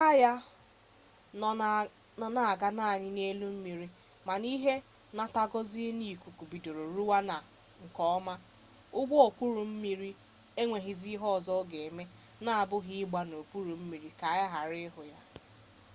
na mbido agha ha nọ na-aga naanị n'elu mmiri mana a ihe nnataozi n'ikuku bidoro rụwa ọrụ nke ọma ụgbọokpurummiri enweghizi ihe ọzọ ọ ga-eme n'abụghị ịgbada n'okpuru mmiri ka a ghara ịhụ ya